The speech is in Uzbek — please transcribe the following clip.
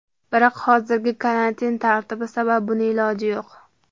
Biroq hozirgi karantin tartibi sabab buni iloji yo‘q.